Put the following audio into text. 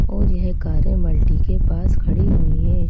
और यह कारें मल्टी के पास खड़ी हुई हैं।